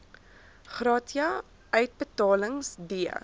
gratia uitbetalings d